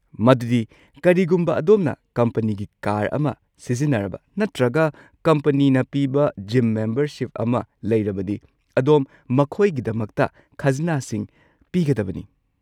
ꯃꯗꯨꯗꯤ, ꯀꯔꯤꯒꯨꯝꯕ ꯑꯗꯣꯝꯅ ꯀꯝꯄꯅꯤꯒꯤ ꯀꯥꯔ ꯑꯃ ꯁꯤꯖꯤꯟꯅꯔꯕ ꯅꯠꯇ꯭ꯔꯒ ꯀꯝꯄꯅꯤꯅ ꯄꯤꯕ ꯖꯤꯝ ꯃꯦꯝꯕꯔꯁꯤꯞ ꯑꯃ ꯂꯩꯔꯕꯗꯤ, ꯑꯗꯣꯝ ꯃꯈꯣꯏꯒꯤꯗꯃꯛꯇ ꯈꯖꯅꯥꯁꯤꯡ ꯄꯤꯒꯗꯕꯅꯤ꯫